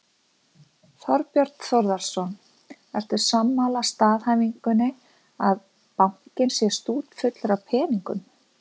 Þorbjörn Þórðarson: Ertu sammála staðhæfingunni að bankinn sé stútfullur af peningum?